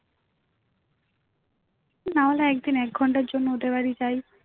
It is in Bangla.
না হলে একদিন এক ঘন্টার জন্য ওদের বাড়ি যাই